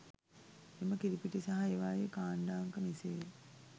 එම කිරිපිටි සහ ඒවායේ කාණ්ඩ අංක මෙසේය.